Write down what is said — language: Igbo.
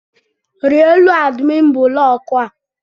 rie elu adimin buloku a!